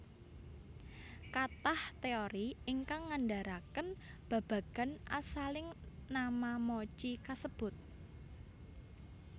Kathah teori ingkang ngandharaken babagan asaling nama mochi kasebut